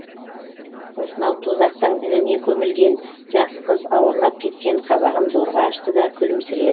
осынау тозақтың ініне көмілген жас қыз ауырлап кеткен қабағын зорға ашты да